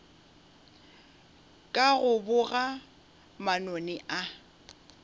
ka go boga manoni a